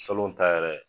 Salo ta yɛrɛ